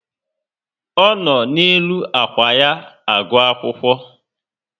O no n'elu ákwà ya agụ akwụkwọ